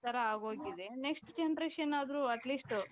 ತರ ಆಗೋಗಿದೆ next generation ಆದ್ರೂ atleast